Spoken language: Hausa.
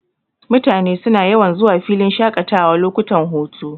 Mutane suna yawan zuwa filin shaƙatawa lokutan hutu.,